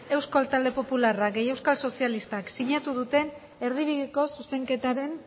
gehi euskal talde popularra gehi euskal sozialistak sinatu duten erdibideko zuzenketaren